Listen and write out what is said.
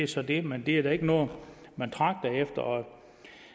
så det men det er da ikke noget man tragter efter